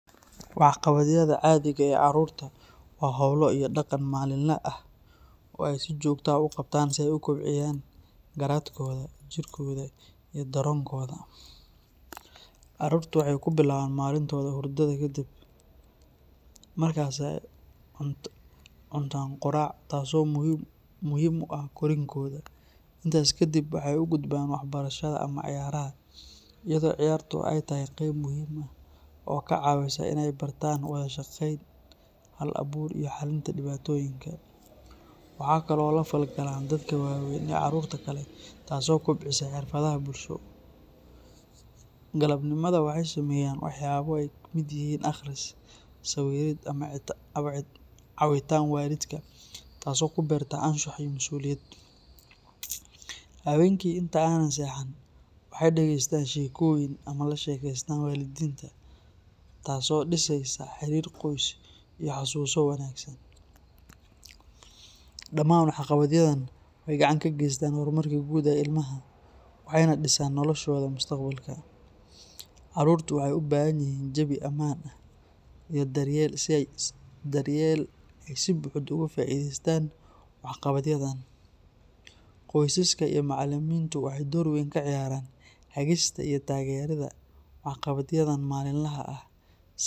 Waxqabadyada caadiga ah ee carruurta waa hawlo iyo dhaqan maalinle ah oo ay si joogto ah u qabtaan si ay u kobciyaan garaadkooda, jirkooda, iyo dareenkooda. Carruurtu waxay ku bilaabaan maalintooda hurdada ka dib, markaasay cuntaan quraac, taasoo muhiim u ah korriinkooda. Intaas kadib, waxay u gudbaan waxbarashada ama ciyaaraha, iyadoo ciyaartu ay tahay qayb muhiim ah oo ka caawisa inay bartaan wada shaqayn, hal-abuur, iyo xallinta dhibaatooyinka. Waxay kaloo la falgalaan dadka waaweyn iyo carruurta kale, taas oo kobcisa xirfadaha bulsho. Galabnimada waxay sameeyaan waxyaabo ay ka mid yihiin akhris, sawirid, ama caawinta waalidka, taasoo ku beerta anshax iyo masuuliyad. Habeenkii, inta aanay seexan, waxay dhagaystaan sheekooyin ama la sheekaystaan waalidiinta, taasoo dhisaysa xiriir qoys iyo xasuuso wanaagsan. Dhammaan waxqabadyadan waxay gacan ka geystaan horumarka guud ee ilmaha, waxayna dhisaan noloshooda mustaqbalka. Carruurtu waxay u baahan yihiin jawi ammaan ah iyo daryeel si ay si buuxda ugu faa’iidaystaan waxqabadyadan. Qoysaska iyo macallimiintu waxay door weyn ka ciyaaraan hagista iyo taageeridda waxqabadyadan maalinlaha ah si.